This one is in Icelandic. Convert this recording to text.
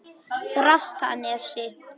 Þrastanesi